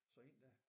Så ind der